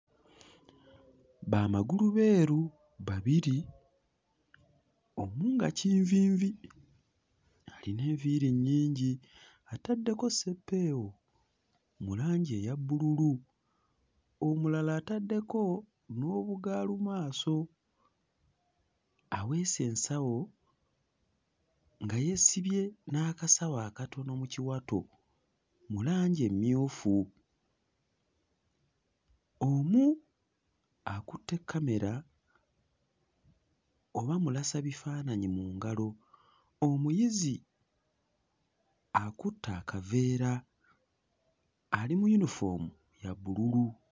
Bamagulubeeru babiri omu nga kinviinvi alina enviiri nnyingi ataddeko ssepeewo mu langi eya bbululu. Omulala ataddeko n'obugaalumaaso, aweese ensawo nga yeesibye n'akasawo akatono mu kiwato mu langi emmyufu. Omu akutte kkamera oba mmulasabifaananyi mu ngalo. Omuyizi akutte akaveera ali mu yunifoomu ya bbululu.